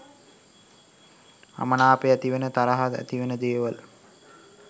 අමනාපය ඇතිවෙන තරහ ඇතිවෙන දේවල්